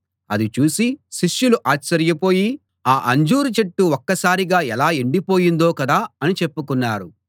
అది చూసి శిష్యులు ఆశ్చర్యపోయి ఆ అంజూరు చెట్టు ఒక్కసారిగా ఎలా ఎండిపోయిందో కదా అని చెప్పుకున్నారు